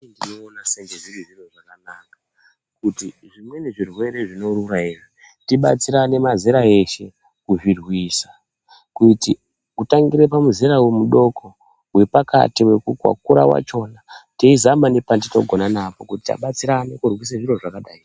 Inini ndinoona senge zviri zviro zvakanaka kuti zvimweni zvirwere zvinorura izvi, tibatsirane mazera eshe kuzvirwisa kuti kutangire pamuzera mudoko, wepakati, wekukura wachona teizama nepatinogona napo kuti tabatsirane kurwisa zviro zvakadai.